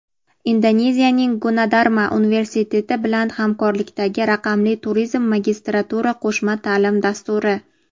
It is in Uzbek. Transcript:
Indoneziyaning Gunadarma universiteti bilan hamkorlikdagi "Raqamli turizm" magistratura qo‘shma taʼlim dasturi;.